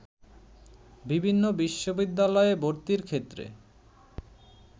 বিভিন্ন বিশ্ববিদ্যালয়ে ভর্তির ক্ষেত্রে